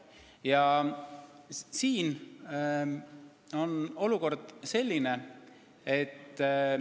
Aga olukord on selline.